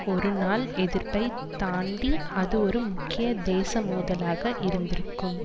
ஒரு நாள் எதிர்ப்பை தாண்டி அது ஒரு முக்கிய தேசிய மோதலாக இருந்திருக்கும்